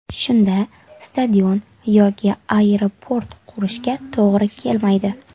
Shunda stadion yoki aeroport qurishga to‘g‘ri kelmaydi.